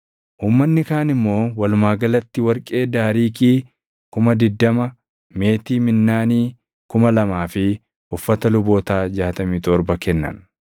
Uummanni kaan immoo walumaa galatti warqee daariikii 20,000, meetii minnaanii 2,000 fi uffata lubootaa 67 kennan.